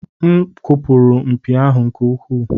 M kụpụrụ mpi ahụ nke ukwuu.